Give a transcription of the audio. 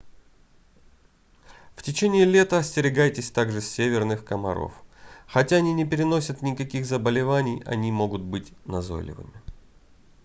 в течении лета остерегайтесь также северных комаров хотя они не переносят никаких заболеваний они могут быть назойливыми